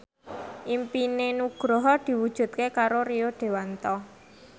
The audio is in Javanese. impine Nugroho diwujudke karo Rio Dewanto